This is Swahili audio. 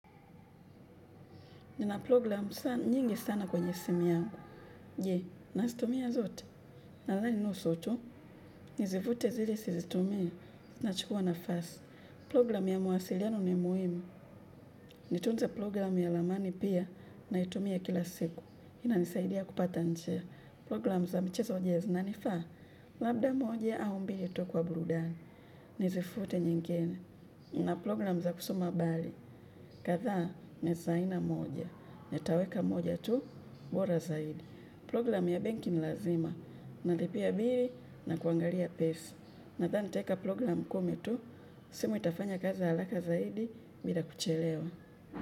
Nina program nyingi sana kwenye simu yangu. Jee, nasitumia zote. Nadhani nusu tu, nizifute zile sizitumii na chukua nafasi. Program ya mawasiliano ni muhimu. Nitunze program ya ramani pia naitumia kila siku. Inanisaidia kupata njia. Program za mchezo je zina nifaa. Labda moja au mbili tu kwa burudani. Nizifute nyingene. Na program za kusoma abali. Katha ni za aina moja. Nitaweka moja tu. Mbora zaidi. Program ya banki nilazima. Nalipia bili na kuangalia pesa. Nadhani nitaeka program kumi tu. Simu itafanya kazi alaka zaidi bila kuchelewa.